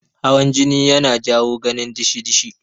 Hawan jini yana jawo gani dishi-dishi.